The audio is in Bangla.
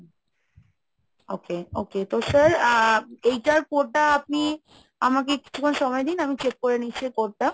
okay okay তো sir এইটার code টা আপনি আমাকে কিছুক্ষণ সময় দিন আমি check করে নিচ্ছি এই code টা